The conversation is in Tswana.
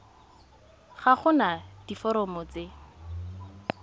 ga go na diforomo tse